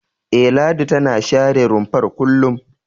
E, Ladi tana share rumfar kullum.